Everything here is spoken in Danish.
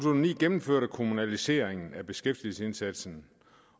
ni gennemførte kommunaliseringen af beskæftigelsesindsatsen